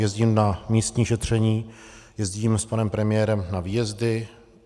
Jezdím na místní šetření, jezdím s panem premiérem na výjezdy.